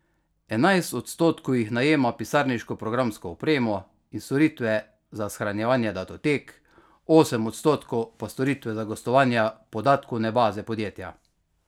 Enajst odstotkov jih najema pisarniško programsko opremo in storitve za shranjevanje datotek, osem odstotkov pa storitve za gostovanja podatkovne baze podjetja.